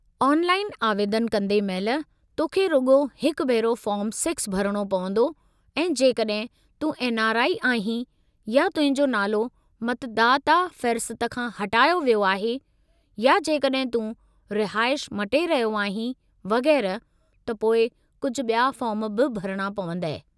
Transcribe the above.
Online आवेदनु कंदे महिलु, तोखे रुॻो हिकु भेरो फ़ॉर्मु 6 भरणो पवंदो ऐं जेकड॒हिं तूं एनआरआई आहीं या तुंहिंजो नालो मतुदाता फ़हिरिस्त खां हटायो वियो आहे, या जेकड॒हिं तूं रिहाइश मटे रहियो आहीं; वगै़रह त पोइ कुझु बि॒या फ़ार्म बि भरणा पवंदई।